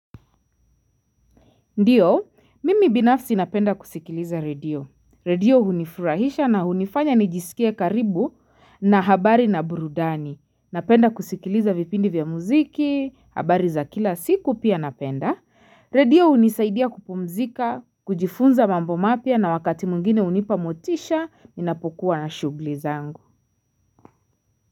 Ndio, mimi binafsi napenda kusikiliza radio. Radio hunifurahisha na hunifanya nijisikie karibu na habari na burudani. Napenda kusikiliza vipindi vya muziki, habari za kila siku pia napenda. Radio hunisaidia kupumzika, kujifunza mambo mapya na wakati mwingine hunipa motisha, ninapokuwa na shughuli zangu.